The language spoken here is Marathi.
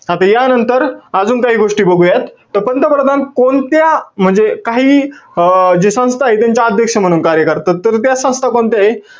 आता यानंतर, अजून काही गोष्टी बघुयात. त पंतप्रधान कोणत्या म्हणजे काही अं जे संस्था आहेत, त्यांचे अध्यक्ष म्हणून कार्य करतात? तर त्या संस्था कोणत्यायेत?